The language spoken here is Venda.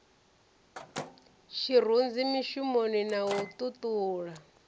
tshirunzi mishumoni na u ṱuṱula